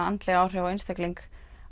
andleg áhrif á einstakling